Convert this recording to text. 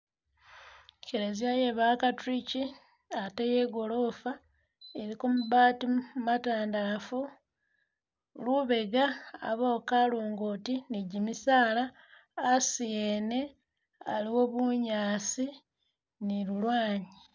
I kereziya iye bakatuliki, ate iye gorofa iliko mabati matandalafu, lubega abawo kalongoti ni gimisala, asi ene aliwo bunyaasi ni lulwanyi.